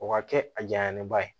O ka kɛ a janyaba ye